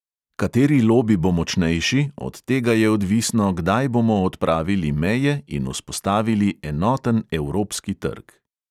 Kateri lobi bo močnejši, od tega je odvisno, kdaj bomo odpravili meje in vzpostavili enoten evropski trg.